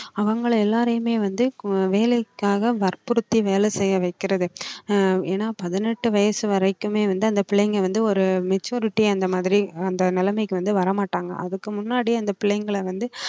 அவங்களை எல்லாரையுமே வந்து கு~ வேலைக்காக வற்புறுத்தி வேலை செய்ய வைக்கிறது அஹ் ஏன்னா பதினெட்டு வயசு வரைக்குமே வந்து அந்த பிள்ளைங்க வந்து ஒரு maturity அந்த மாதிரி அந்த நிலைமைக்கு வந்து வரமாட்டாங்க அதுக்கு முன்னாடி அந்த பிள்ளைங்களை வந்து